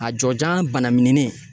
A jɔjanya banamininen